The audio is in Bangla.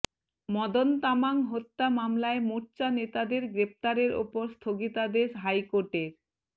মদন তামাং হত্যা মামলায় মোর্চা নেতাদের গ্রেফতারের ওপর স্থগিতাদেশ হাইকোর্টের